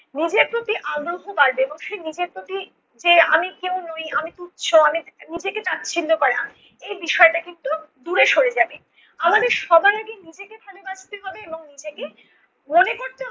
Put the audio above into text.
নিজের প্রতি আদর্শ বা দেবর্ষীর নিজের প্রতি যে আমি কেউ নই, আমি তুচ্ছ, আমি নিজেকে তাচ্ছিল্য করা, এই বিষয়টা কিন্তু দূরে সরে যাবে। আমাদের সবার আগে নিজেকে ভালোবাসতে হবে এবং নিজেকে মনে করতে